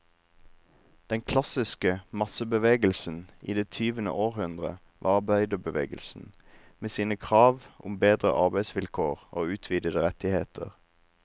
Den klassiske massebevegelsen i det tyvende århundre var arbeiderbevegelsen, med sine krav om bedre arbeidsvilkår og utvidede rettigheter.